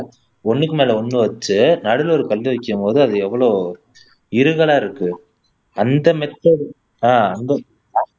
ஒண்ணுக்குமேல ஒண்ணு வச்சு நடுவுல ஒரு கல் வைக்கும்போது அது எவ்வளோ இறுகலா இருக்கு அந்த மெத்தடு ஆஹ் அந்த